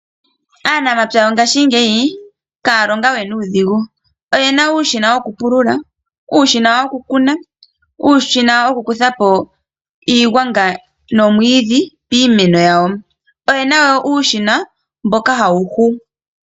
Aanamapya yo ngashigeyi kaya longa we nuudhingu. Oye na uushina wokupulula, uushina woku kuna, uushina woku kuthapo iigwanga nomwiidhi piimeno yawo. Oyena wo uushina mboka hawu hu.